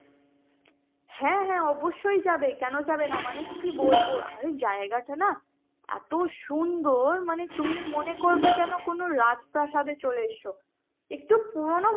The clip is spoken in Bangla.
হ্যাঁ হ্যাঁ অবশ্যই যাবে কেন যাবে না মানে কি বলবো অরে জায়গাটা না এত সুন্দর মানে তুমি মনে করবে যেনো কোন রাজপ্রাসাদ চলে এসেছ একটু পুরনো,